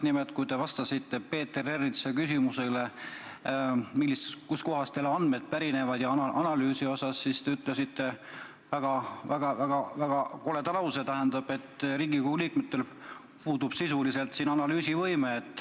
Nimelt, kui te vastasite Peeter Ernitsa küsimusele, kustkohast teil andmed pärinevad, ja analüüsi kohta, siis te ütlesite väga koleda lause, et Riigikogu liikmetel puudub sisuliselt analüüsivõime.